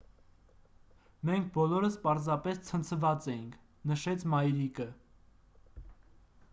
«մենք բոլորս պարզապես ցնցված էինք»,- նշեց մայրիկը: